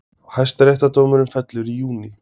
Hæstaréttardómurinn fellur í júní